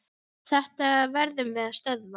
Þetta verðum við að stöðva.